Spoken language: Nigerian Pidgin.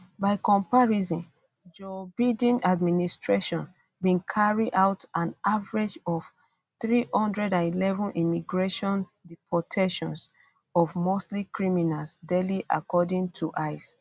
by comparison joe biden administration bin carry um out an average of 311 immigration deportations of mostly criminals daily according to ice